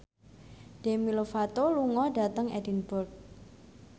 Demi Lovato lunga dhateng Edinburgh